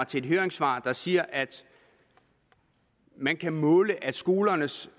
til et høringssvar der siger at man kan måle at skolernes